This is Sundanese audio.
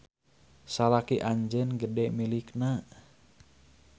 Salaki anjeun gede milikna